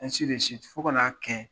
fo ka n'a kɛ